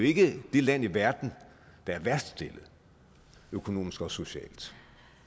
ikke det land i verden der er værst stillet økonomisk og socialt